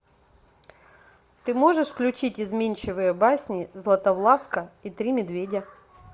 ты можешь включить изменчивые басни златовласка и три медведя